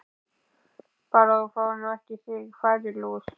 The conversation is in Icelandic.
Bara að þú fáir nú ekki á þig færilús!